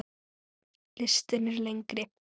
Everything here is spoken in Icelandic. Listinn er lengri.